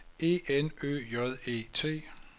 E N Ø J E T